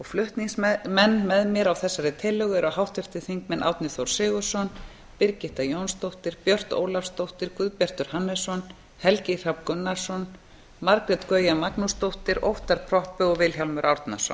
flutningsmenn með mér á þessari tillögu eru háttvirtir þingmenn árni þór sigurðsson birgitta jónsdóttir björt ólafsdóttir guðbjartur hannesson helgi hrafn gunnarsson margrét gauja magnúsdóttir óttarr proppé og vilhjálmur árnason